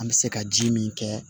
An bɛ se ka ji min kɛ